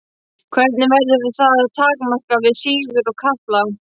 Hvernig verður það takmarkað við síður og kafla?